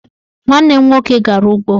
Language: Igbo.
Nwanne m nwoke gara ụgbọ